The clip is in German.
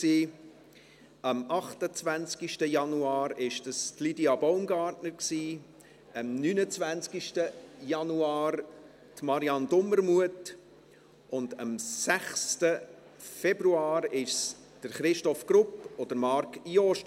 Am 28. Januar hatte Lydia Baumgartner Geburtstag, am 29. Januar Marianne Dumermuth und am 6. Februar Christoph Grupp und Marc Jost.